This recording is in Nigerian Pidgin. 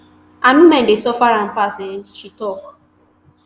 and women dey suffer am pass um she tok